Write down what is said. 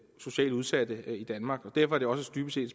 socialt udsatte i danmark og derfor er det også dybest set